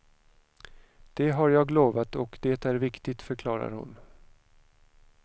Det har jag lovat och det är viktigt, förklarar hon.